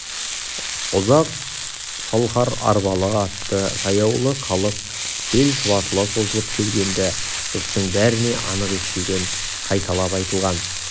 ұзақ салқар арбалы атты жаяулы халық селі шұбатыла созылып келген-ді жұрттың бәріне анық естілген қайталап айтылған